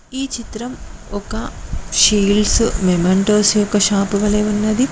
ఈ చిత్రం ఒక షిల్డ్స్ యొక్క షాప్ వాలే ఉన్నది.